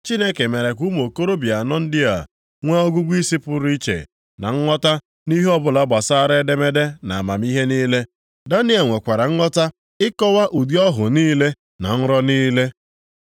Chineke mere ka ụmụ okorobịa anọ ndị a nwee ọgụgụisi pụrụ iche na nghọta nʼihe ọbụla gbasara edemede na amamihe niile. Daniel nwekwara nghọta ịkọwa ụdị ọhụ niile na nrọ niile.